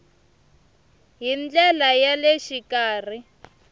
hi ndlela ya le xikarhi